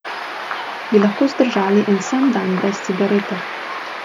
Bi lahko zdržali en sam dan brez cigarete?